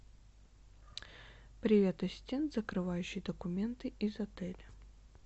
привет ассистент закрывающие документы из отеля